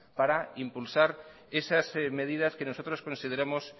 para impulsar esas medidas que nosotros consideramos